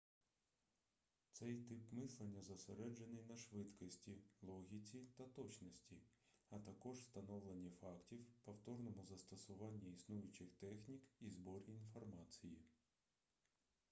цей тип мислення зосереджений на швидкості логіці та точності а також встановленні фактів повторному застосуванні існуючих технік і зборі інформації